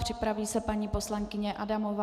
Připraví se paní poslankyně Adamová.